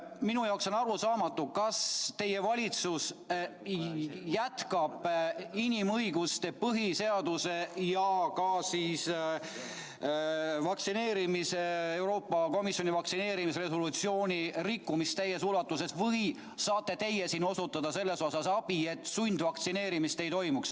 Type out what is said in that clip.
Minu jaoks on arusaamatu, kas teie valitsus jätkab inimõiguste, põhiseaduse ja ka Euroopa Komisjoni vaktsineerimisresolutsiooni rikkumist täies ulatuses või saate teie siin osutada abi, et sundvaktsineerimist ei toimuks.